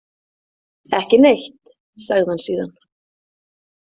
Ekki neitt, sagði hann síðan.